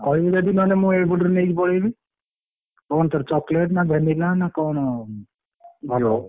କହିବୁ ଯଦି ମୁଁ ମୁଁ ଏଇପଟରୁ ନେଇକି ପଳେଇବି କହୁନୁ କଣ ତୋର chocolate ନା vanilla ନା କଣ ଭଲ?